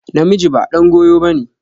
Namiji ba ɗan goyo ba ne.